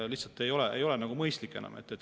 Lihtsalt see ei ole mõistlik enam.